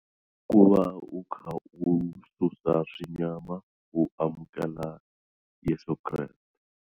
I ku va u kha u susa swinyama u amukela Yeso Kreste.